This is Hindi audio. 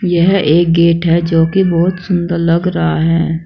यह एक गेट है जो की बहुत सुंदर लग रहा है।